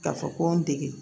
Ka fɔ ko n dege